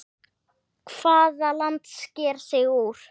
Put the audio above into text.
Hvaða land sker sig úr?